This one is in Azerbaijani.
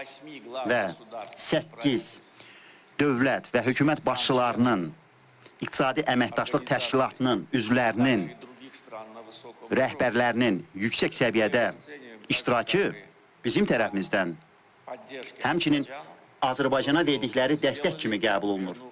Və səkkiz dövlət və hökumət başçılarının İqtisadi Əməkdaşlıq Təşkilatının üzvlərinin rəhbərlərinin yüksək səviyyədə iştirakı bizim tərəfimizdən həmçinin Azərbaycana verdikləri dəstək kimi qəbul olunur.